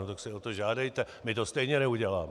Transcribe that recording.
No tak si o to žádejte, my to stejně neuděláme!